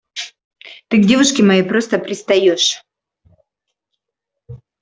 ты к девушке моей просто пристаёшь